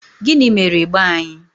Gịnị mere ịgba anyị?